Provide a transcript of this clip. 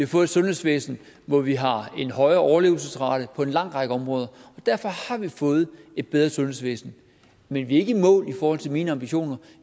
fået et sundhedsvæsen hvor vi har en højere overlevelsesrate på en lang række områder derfor har vi fået et bedre sundhedsvæsen men vi er ikke i mål i forhold til mine ambitioner